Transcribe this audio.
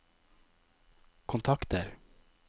kontakter